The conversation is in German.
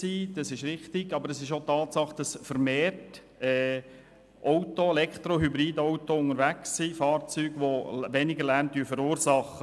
Hierbei muss man aber auch berücksichtigen, dass vermehrt Elektro- und Hybridautos unterwegs sind, die weniger Lärm verursachen.